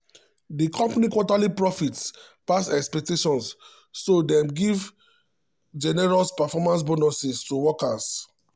di company quarterly profits pass expectations so dem give generous performance bonuses to workers.